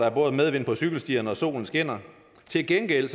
er både medvind på cykelstierne og solen skinner til gengæld